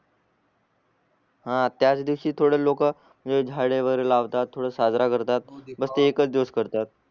हा त्याच दिवसी थोड लोक हे झाडे वगैरे लावतात थोड साजरा करतात बस ते एकच दिवस करतात